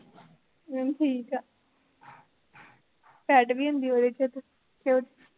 ਅਹ ਠੀਕ ਆ fat ਵੀ ਹੁੰਦੀ ਉਹਦੇ ਚ ਤੇ, ਤੇ ਉ